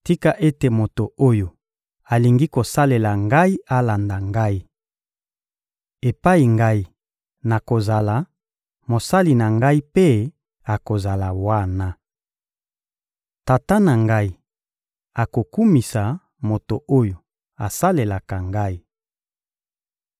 Tika ete moto oyo alingi kosalela Ngai alanda Ngai! Epai Ngai nakozala, mosali na Ngai mpe akozala wana. Tata na Ngai akokumisa moto oyo asalelaka Ngai.